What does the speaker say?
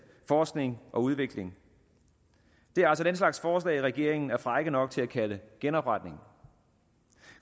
forskning og udvikling det er altså den slags forslag regeringen er fræk nok til at kalde genopretning